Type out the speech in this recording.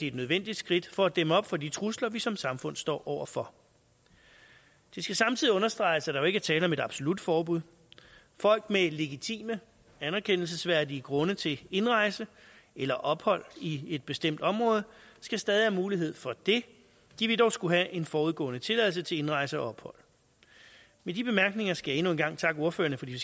et nødvendigt skridt for at dæmme op for de trusler vi som samfund står over for det skal samtidig understreges at der jo ikke er tale om et absolut forbud folk med legitime anerkendelsesværdige grunde til indrejse eller ophold i et bestemt område skal stadig have mulighed for det de vil dog skulle have en forudgående tilladelse til indrejse og ophold med de bemærkninger skal jeg endnu en gang takke ordførerne for de